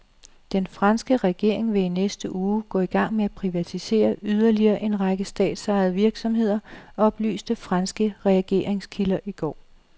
Den franske regering vil i næste uge gå i gang med at privatisere yderligere en række statsejede virksomheder, oplyste franske regeringskilder i går.